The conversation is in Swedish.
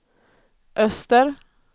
öster